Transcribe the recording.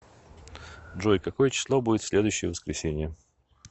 джой какое число будет в следующее воскресенье